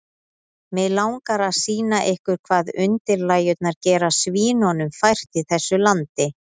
Mig langar að sýna ykkur hvað undirlægjurnar gera svínunum fært í þessu landi.